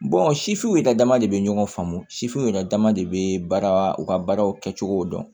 sifininw yɛrɛ dama de bɛ ɲɔgɔn faamu sifuw yɛrɛ dama de bɛ baara u ka baaraw kɛcogo dɔn